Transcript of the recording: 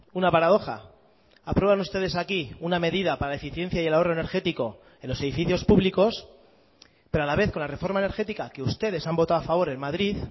una paradoja aprueban ustedes aquí una medida para la eficiencia y el ahorro energético en los edificios públicos pero a la vez con la reforma energética que ustedes han votado a favor en madrid